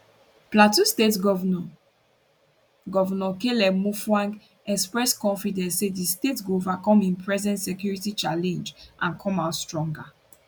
plateau state govnor govnor caleb mutfwang express confidence say di state go overcome im present security challenge and come out stronger